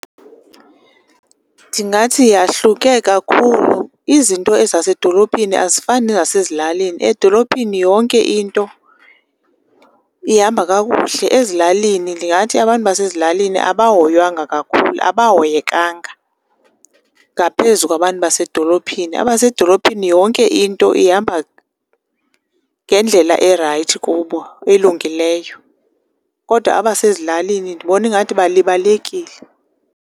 Ndingathi yahluke kakhulu. Izinto ezasedolophini azifani nezasezilalini. Edolophini yonke into ihamba kakuhle. Ezilalini ndingathi abantu basezilalini abahoywanga kakhulu, abahoyekanga ngaphezu kwabantu basedolophini. Abasedolophini yonke into ihamba ngendlela erayithi kubo, elungileyo, kodwa abasezilalini ndibona ingathi balibalekile.